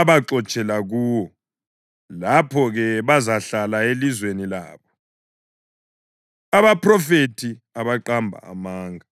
abaxotshela kuwo.’ Lapho-ke bazahlala elizweni labo.” Abaphrofethi Abaqamba Amanga